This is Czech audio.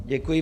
Děkuji.